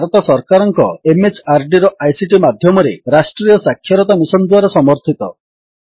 ଏହା ଭାରତ ସରକାରଙ୍କ MHRDର ଆଇସିଟି ମାଧ୍ୟମରେ ରାଷ୍ଟ୍ରୀୟ ସାକ୍ଷରତା ମିଶନ୍ ଦ୍ୱାରା ସମର୍ଥିତ